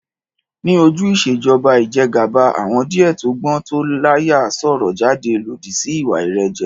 Ní ojú Ìṣèjọba ijẹgàba, àwọn díẹ̀ tó gbọ́n tó l'áyà sọ̀rọ̀ jáde lódì sí ìwà ìrẹ́jẹ